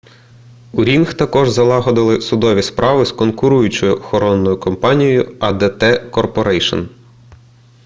у рінг також залагодили судові справи з конкуруючою охоронною компанією адт корпорейшн